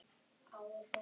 En hvað táknar þetta?